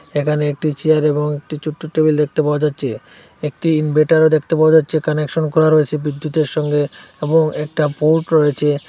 এখানে একটি চেয়ার এবং একটি চোট্ট টেবিল দেখতে পাওয়া যাচ্ছে একটি ইনভার্টারও দেখতে পাওয়া যাচ্ছে কানেকশন করা রয়েছে বিদ্যুতের সঙ্গে এবং একটা পোর্ট রয়েছে।